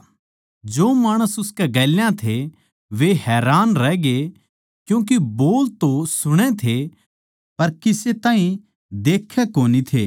जो माणस उसकै गेल्या थे वे हैरान रहग्ये क्यूँके बोल तो सुणै थे पर किसे ताहीं देखै कोनी थे